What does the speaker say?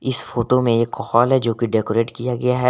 इस फोटो में एक हॉल है जो की डेकोरेट किया गया है।